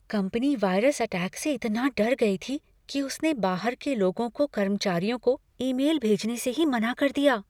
Company virus attack से इतना डर गई थी कि उसने बाहर के लोगों को कर्मचारियों को ईमेल भेजने से ही मना कर दिया।